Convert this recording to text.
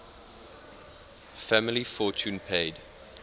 family fortune paid